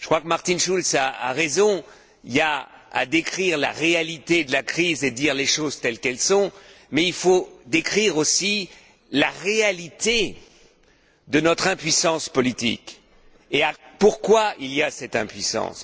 Martin Schultz a raison il faut décrire la réalité de la crise et dire les choses telles qu'elles sont, mais il faut décrire aussi la réalité de notre impuissance politique et les raisons de cette impuissance.